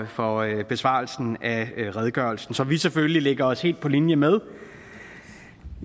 for besvarelsen af redegørelsen som vi selvfølgelig lægger os helt på linje med